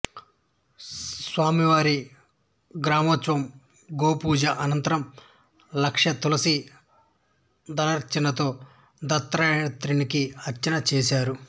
స్వామివారి గ్రామోత్సవం గోపూజ అనంతరం లక్ష తులసి దళార్చనతో దత్తాత్రేయునికి అర్చన చేశారు